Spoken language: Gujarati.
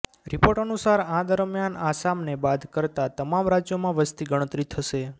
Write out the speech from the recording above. રિપોર્ટ અનુસાર આ દરમિયાન આસામને બાદ કરતા તમામ રાજ્યોમાં વસતી ગણતરી થશે